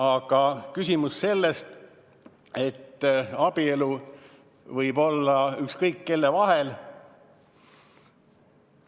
Aga küsimus on selles, et abielu võib olla ükskõik kelle vahel.